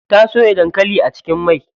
Ta soya dankali a cikin mai.